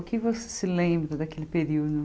O que você se lembra daquele período?